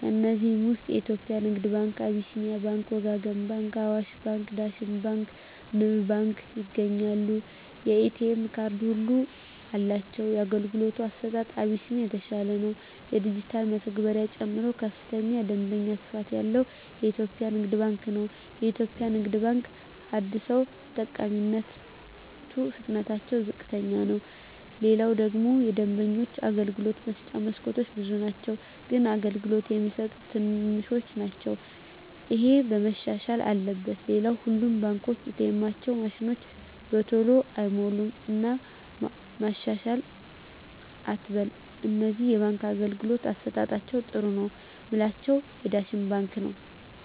ከዚህ ውስጥ የኢትዮጵያ ንግድ ባንክ አቢስኒያ ባንክ ወጋገን ባንክ አዋሽ ባንክ ዳሽን ባንክ ንብ ባንክ ይገኛሉ የኤ.ቴ ካርድ ሁሉም አላቸው የአገልግሎቱ አሰጣጡ አቢስኒያ የተሻለ ነው የዲጅታል መተግበሪያ ጨምሮ ከፍተኛ የደንበኛ ስፋት ያለው ኢትዮጵያ ንግድ ባንክ ነው የኢትዮጵያ ንግድ ባንክ አደሰው ተጠቃሚነቱ ፍጥነትታቸው ዝቅተኛ ነው ሌላው ደግሞ የደንበኞች የአገልግሎት መስጫ መስኮቶች ብዙ ናቸው ግን አገልግሎት የሚሰጡት ትንሾች ናቸው እሄ መሻሻል አለበት ሌላው ሁሉም ባንኮች ኤ. ቴኤማቸው ማሽኖች በተሎ አይሞሉም እና መሻሻል አትበል ከነዚህ የባንክ አገልግሎት አሠጣጣቸዉ ጥሩ ነው ምላቸውን ዳሽን ባንክን ነዉ